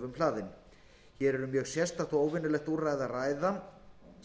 hlaðin hér er um mjög sérstakt og óvenjulegt úrræði að ræða